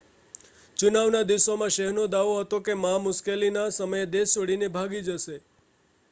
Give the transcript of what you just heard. ચુનાવ ના દિવસોમાં શેહનો દાવો હતો કે મા મુશ્કેલી ના સમયે દેશ છોડી ને ભાગી જશે